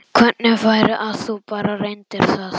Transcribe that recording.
Hvernig væri að þú bara reyndir það?